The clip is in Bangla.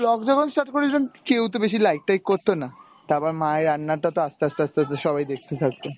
blog যখন start করেছিলাম কেও তো বেশি like টাইক করতো না, তারপর মায়ের রান্না টা তো আস্তে আস্তে আস্তে আস্তে সবাই দেখতে থাকতো।